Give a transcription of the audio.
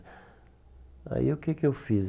Aí o que que eu fiz?